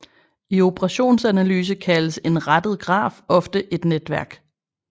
I operationsanalyse kaldes en rettet graf ofte et netværk